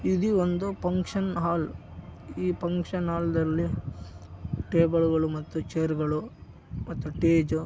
ಇದು ಒಂದು function hall ಈ ಫಂಕ್ಷನ್ ಹಾಲ್ದಲ್ಲಿ ಟೇಬಲ್‌ ಗಳು ಮತ್ತು ಚೇರ್ ಗಳು ಮತ್ತು --